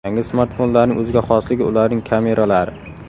Yangi smartfonlarning o‘ziga xosligi ularning kameralari.